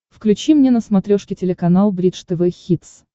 включи мне на смотрешке телеканал бридж тв хитс